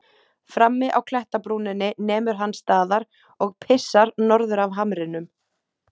Frammi á klettabrúninni nemur hann staðar og pissar norður af hamrinum.